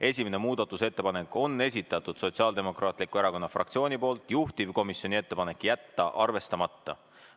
Esimene muudatusettepanek on esitatud Sotsiaaldemokraatliku Erakonna fraktsiooni poolt, juhtivkomisjoni ettepanek on jätta see arvestamata.